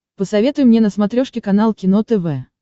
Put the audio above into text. посоветуй мне на смотрешке канал кино тв